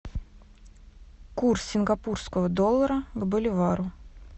курс сингапурского доллара к боливару